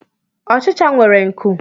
Ọchicha nwere nkụ